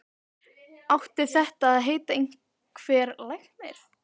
Átti þetta að heita einhver lækning?